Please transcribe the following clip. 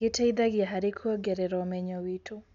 Gĩteithagia harĩ kuongerera ũmenyo witũ.